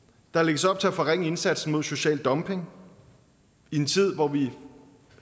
der lægges op til at forringe indsatsen mod social dumping i en tid hvor vi